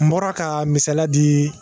N bɔra ka misaliya di